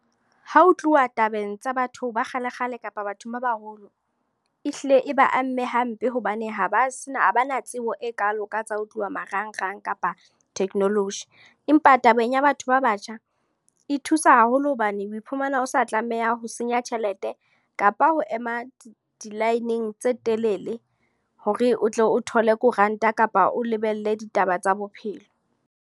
Ha ho tluwa tabeng tsa batho ba kgalekgale, kapa bathong ba baholo. E hlile e ba amme hampe hobane ha ba se na ba na tsebo e kalo ka tsa ho tluwa marangrang kapa technology. Empa tabeng ya batho ba batjha, e thusa haholo hobane o iphumana o sa tlameha ho senya tjhelete. Kapa ho ema di-line tse telele, hore o tle o thole koranta kapa o lebelle ditaba tsa bophelo.